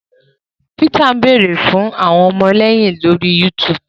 Peter ń beere fún àwọn ọmọléyìn lórí YouTube